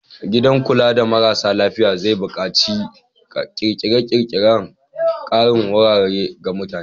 Gidan kula da marasa lafiya zai buƙaci ƙirƙirar ƙarin wurare ga mutane.